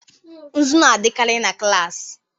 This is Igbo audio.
Nzu na-adịkarị na klas.